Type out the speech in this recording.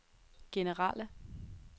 generelle